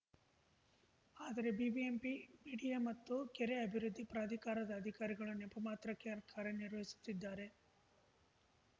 ಆದರೆ BBMP BDA ಮತ್ತು ಕೆರೆ ಅಭಿವೃದ್ಧಿ ಪ್ರಾಧಿಕಾರದ ಅಧಿಕಾರಿಗಳು ನೆಪ ಮಾತ್ರಕ್ಕೆ ಕಾರ್ಯ ನಿರ್ವಹಿಸುತ್ತಿದ್ದಾರೆ